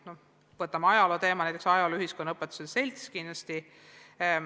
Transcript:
Kui me võtame ajaloo teema, siis sellega tegeleb kindlasti ajaloo- ja ühiskonnaõpetajate selts.